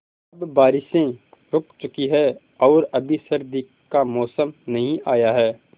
अब बारिशें रुक चुकी हैं और अभी सर्दी का मौसम नहीं आया है